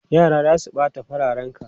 Yara za su ɓata fararenka!